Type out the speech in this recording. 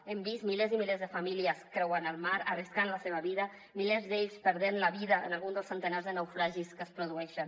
hem vist milers i milers de famílies creuant el mar arriscant la seva vida milers d’ells perdent la vida en algun dels centenars de naufragis que es produeixen